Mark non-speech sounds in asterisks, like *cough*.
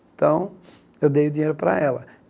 Então, *sniffs* eu dei o dinheiro para ela.